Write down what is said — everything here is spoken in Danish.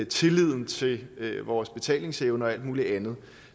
tilliden til vores betalingsevner og alt muligt andet